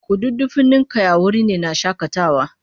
Kududdufin ninkaya wuri ne na shakatawa